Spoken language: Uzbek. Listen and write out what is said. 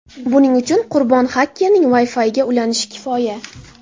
Buning uchun qurbon xakerning Wi-Fi’iga ulanishi kifoya.